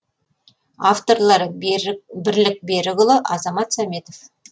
авторлары бірлік берікұлы азамат сәметов